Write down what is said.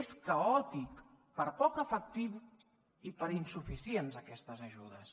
és caòtic per poc efectiu i per insuficients aquestes ajudes